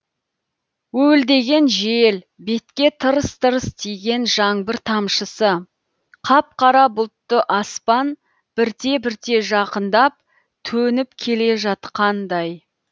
уілдеген жел бетке тырс тырс тиген жаңбыр тамшысы қап қара бұлтты аспан бірте бірте жақындап төніп келе жатқандай